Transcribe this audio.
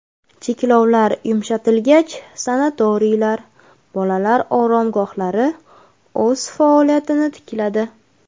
Cheklovlar yumshatilgach, sanatoriylar, bolalar oromgohlari o‘z faoliyatini tikladi.